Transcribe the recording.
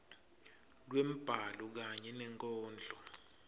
lwembhalo kanye nenkondlo